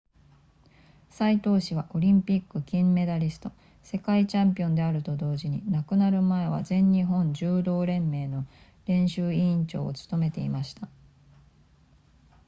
斎藤氏はオリンピック金メダリスト世界チャンピオンであると同時に亡くなる前は全日本柔道連盟の練習委員長を務めていました